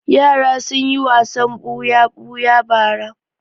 Yara sun yi wasan buya-buya bara.